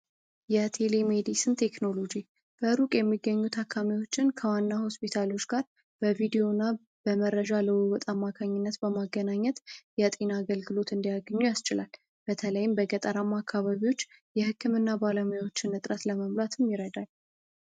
የቴሌ ሜድስን ቴክኖሎጂ በሩቅ የሚገኙት አካዋና ሆስፒታሎች ጋር በቪዲዮ እና በመረጃ ለማካኝነት በማገናኘት የጤና አገልግሎት እንዲያገኙ ያስችላል በተለይም በገጠር አካባቢዎች የህክምና ባለሙያዎችን ይረዳል።